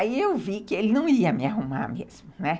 Aí eu vi que ele não ia me arrumar mesmo, né.